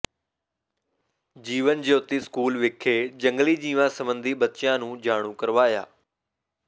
ਜੀਵਨ Jyoti school ਵਿਖੇ ਜੰਗਲੀ ਜੀਵਾਂ ਸਬੰਧੀ ਬੱਚਿਆਂ ਨੂੰ ਜਾਣੂ ਕਰਵਾਇਆ